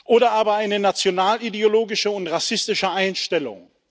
oder aber eine nationalideologische und rassistische Einstellung.